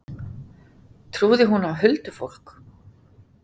Trúði hún á huldufólk?